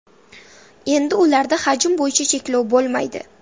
Endi ularda hajm bo‘yicha cheklov bo‘lmaydi.